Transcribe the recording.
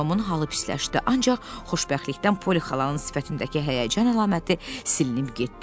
Tomun halı pisləşdi, ancaq xoşbəxtlikdən Poli xalanın sifətindəki həyəcan əlaməti silinib getdi.